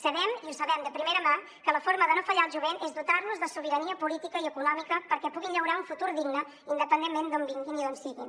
sabem i ho sabem de primera mà que la forma de no fallar al jovent és dotar los de sobirania política i econòmica perquè puguin llaurar un futur digne independentment d’on vinguin i d’on siguin